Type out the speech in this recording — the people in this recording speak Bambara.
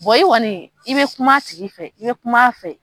i kɔni i bɛ kuma a tigi fɛ i bɛ kuma a fɛ